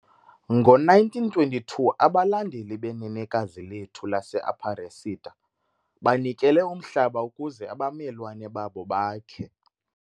Ngo-1922 abalandeli beNenekazi Lethu laseAparecida banikele umhlaba ukuze abamelwane babo bakhe